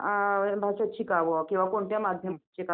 अच्छा म्हणजे दरवर्षी एकवेळेसच भरते का?